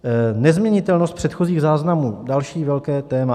Nezměnitelnost předchozích záznamů - další velké téma.